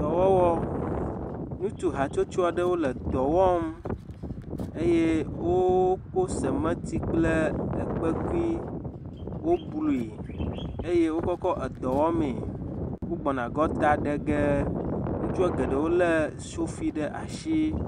Dɔwɔwɔ. Ŋutsu hatsotso aɖe le dɔ wɔm eye wooko semɛti kple ekpekui. Woblui eye wokɔkɔ edɔ wɔmee. Wogbɔna gɔta ɖe ge. Ŋutsua geɖowo lé sofi ɖe ashi.